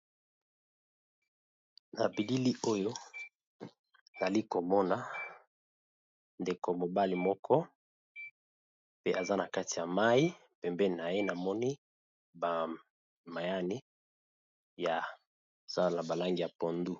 Na bilili oyo ali komona ndeko mobali moko pe aza na kati ya mayi, pembeni na ye namoni ba mayani ya zala na ba langi ya pondu.